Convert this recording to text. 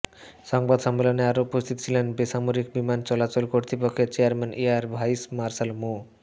সংবাদ সম্মেলনে আরও উপস্থিত ছিলেন বেসামরিক বিমান চলাচল কর্তৃপক্ষের চেয়ারম্যান এয়ার ভাইস মার্শাল মো